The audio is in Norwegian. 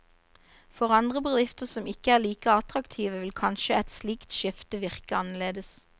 For andre bedrifter som ikke er like attraktive, ville kanskje et slikt skifte virke annerledes.